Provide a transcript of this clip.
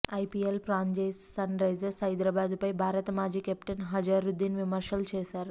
IPL franchise Sunrisers Hyderabad పై భారత మాజీ కెప్టెన్ అజారుద్దీన్ విమర్శలు చేశారు